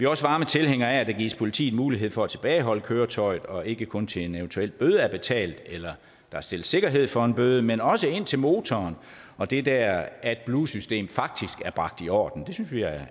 også varme tilhængere af at der gives politiet mulighed for at tilbageholde køretøjet og ikke kun til en eventuel bøde er betalt eller der stilles sikkerhed for en bøde men også indtil motoren og det der adblue system faktisk er bragt i orden det synes vi er